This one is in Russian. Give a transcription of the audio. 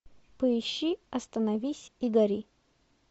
поищи остановись и гори